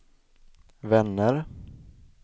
vänner